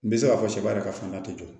N bɛ se k'a fɔ sɛ b'a yɛrɛ ka fanga tɛ jɔ